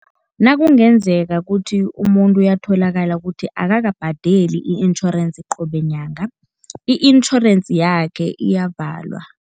Nakungenzeka kuthi umuntu uyatholakala kuthi akakabhadeli i-insurance qobe nyanga, i-insurance yakhe iyavalwa.